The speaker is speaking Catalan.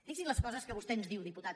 fixi’s en les coses que vostè ens diu diputat